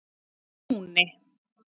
Túni